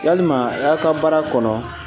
Walima a y'a ka baara kɔnɔ